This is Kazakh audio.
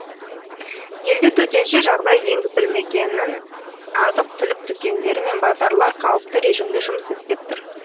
елде төтенше жағдай енгізілгенімен азық түлік дүкендері мен базарлар қалыпты режимде жұмыс істеп тұр